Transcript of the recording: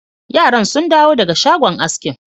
Yaran sun dawo daga shagon askin.